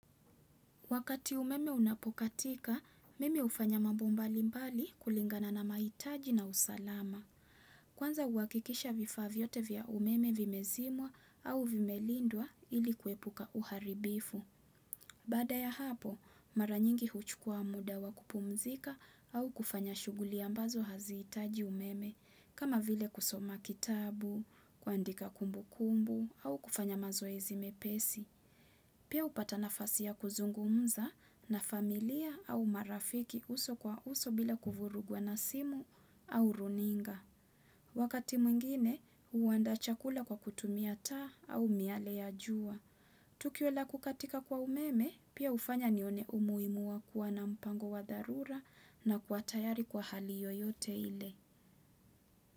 Wakati umeme unapokatika, mimi hufanya mambo mbalimbali kulingana na mahitaji na usalama. Kwanza uhakikisha vifaa vyote vya umeme vimezimwa au vimelindwa ili kuepuka uharibifu. Baada ya hapo, mara nyingi huchukua muda wa kupumzika au kufanya shughuli ambazo haziitaji umeme, kama vile kusoma kitabu, kuandika kumbukumbu au kufanya mazoezi mepesi. Pia hupata nafasi ya kuzungumza na familia au marafiki uso kwa uso bila kuvurugwa na simu au runinga. Wakati mwingine, huandaa chakula kwa kutumia taa au miale ya jua. Tukio la kukatika kwa umeme, pia hufanya nione umuhimu wa kuwa na mpango wa dharura na kuwa tayari kwa hali yoyote ile.